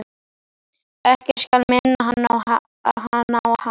Ekkert skal minna hana á hann.